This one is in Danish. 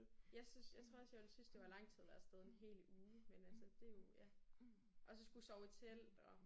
Jeg synes jeg tror også jeg ville synes det var lang tid at være afsted en hel uge men altså det jo ja. Og så skulle sove i telt og